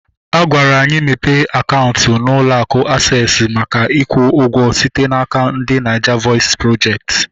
Agwara anyị mepe akaụntụ na ụlọ akụ Aksesị maka ikwu ụgwọ site n'aka ndị Naija vọis projekti